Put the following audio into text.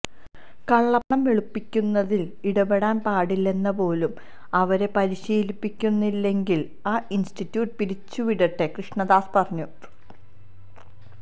കള്ളപ്പണം വെളുപ്പിക്കുന്നതില് ഇടപെടാന്പാടില്ലെന്ന് പോലും അവരെ പരിശീലിപ്പിക്കുന്നില്ലെങ്കില് ആ ഇന്സ്റ്റിട്യൂറ്റ് പിരിച്ചുവിടട്ടെ കൃഷ്ണദാസ് പറഞ്ഞു